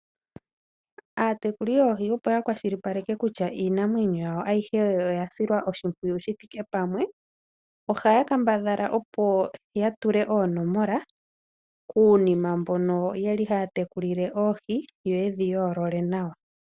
Aatekuli yoohi opo ya kwashilipaleke kutya iinamwenyo yawo ayihe oya silwa oshimpwiyu shi thike pamwe, ohaya kambadhala opo ya tule oonomola kuunima mbono haya tekulile oohi, yo ye dhi yoolole nawa.